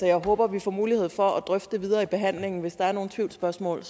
jeg håber at vi får mulighed for at drøfte det videre i behandlingen hvis der er nogle tvivlsspørgsmål